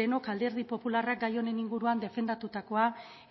denok alderdi popularrak gai honen inguruan defendatutakoa